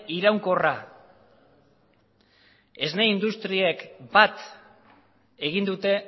iraunkorra esne industriek bat egin dute